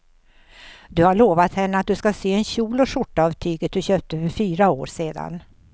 Du har lovat henne att du ska sy en kjol och skjorta av tyget du köpte för fyra år sedan.